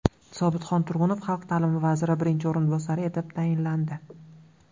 Sobitxon Turg‘unov xalq ta’limi vaziri birinchi o‘rinbosari etib tayinlandi.